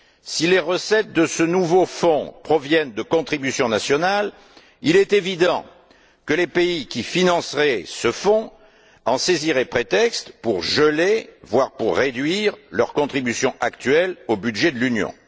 Si les recettes de ce nouveau fonds proviennent de contributions nationales, il est évident que les pays qui financeraient ce fonds en saisiraient prétexte pour geler, voire réduire leur contribution actuelle au budget de l'Union.